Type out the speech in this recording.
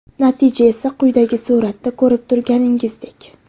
Natija esa quyidagi suratda ko‘rib turganingizdek .